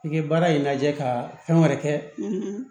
I ye baara in lajɛ ka fɛn wɛrɛ kɛ